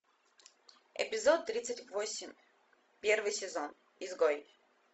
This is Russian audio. эпизод тридцать восемь первый сезон изгой